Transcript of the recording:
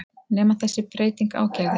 Nema þessi breyting ágerðist.